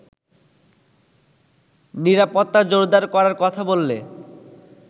নিরাপত্তা জোরদার করার কথা বললে